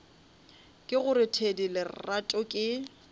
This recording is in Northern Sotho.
ke gore thedi lerato ke